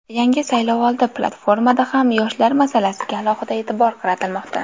Yangi saylovoldi platformada ham yoshlar masalasiga alohida e’tibor qaratilmoqda.